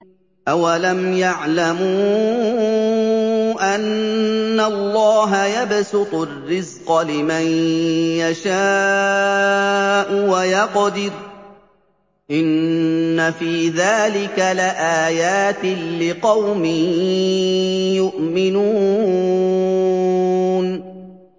أَوَلَمْ يَعْلَمُوا أَنَّ اللَّهَ يَبْسُطُ الرِّزْقَ لِمَن يَشَاءُ وَيَقْدِرُ ۚ إِنَّ فِي ذَٰلِكَ لَآيَاتٍ لِّقَوْمٍ يُؤْمِنُونَ